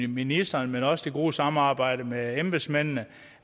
ministeren men også med det gode samarbejde med embedsmændene